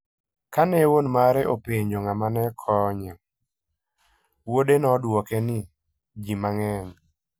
Kane wuon mare openjo ng'ama ne konyo, wuode nodwoke ni, "Ji mang'eny".